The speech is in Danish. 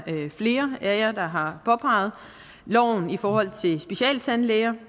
har flere af jer påpeget loven i forhold til specialtandlæger